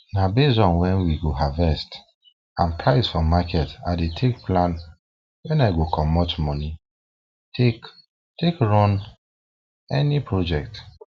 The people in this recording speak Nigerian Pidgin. na based on when we go harvest and price for market i dey take plan when i go comot moni take take run any project